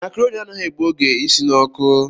Macaroni anaghị egbu oge isi n'ọkụ